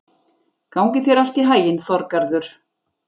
Gangi þér allt í haginn, Þorgarður.